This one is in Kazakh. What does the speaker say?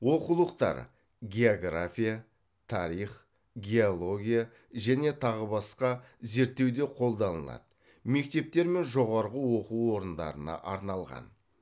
оқулықтар география тарих геология және тағы басқа зерттеуде қолданылады мектептер мен жоғарғы оқу орындарына арналған